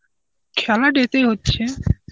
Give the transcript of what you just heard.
খেলা day তেই হচ্ছে.